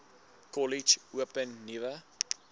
kollege open nuwe